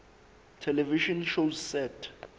television shows set